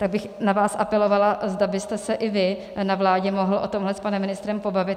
Tak bych na vás apelovala, zda byste se i vy na vládě mohl o tomhle s panem ministrem pobavit.